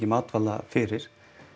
matvæla fyrir